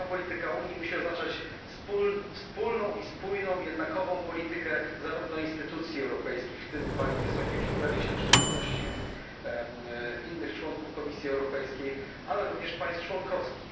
Spójna polityka Unii musi oznaczać wspólną i spójną, jednakową politykę zarówno instytucji europejskich, w tym pani Wysokiej Przedstawiciel w szczególności i innych członków Komisji Europejskiej, jak również państw członkowskich.